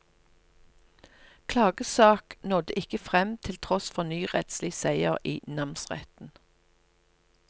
Klagesak nådde ikke frem til tross for ny rettslig seier i namsretten.